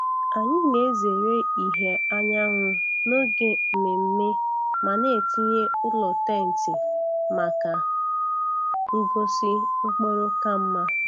Anyị na-ezere ìhè anyanwụ n’oge mmemme ma na-etinye ụlọ tenti maka ngosi mkpụrụ ka mma.